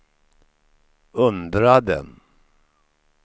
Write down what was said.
undrade